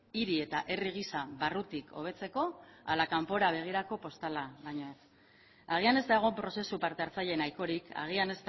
hiri eta herri gisa barrutik hobetzeko ala kanpora begirako postala baino ez agian ez dago prozesu parte hartzaile nahikorik agian